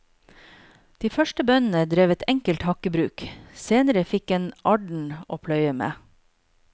De første bøndene drev et enkelt hakkebruk, senere fikk en arden å pløye med.